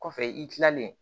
Kɔfɛ i kilalen